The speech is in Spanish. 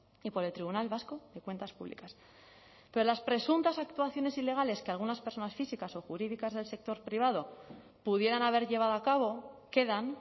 y por el tribunal vasco de cuentas públicas pero las presuntas actuaciones ilegales que algunas personas físicas o jurídicas del sector privado pudieran haber llevado a cabo quedan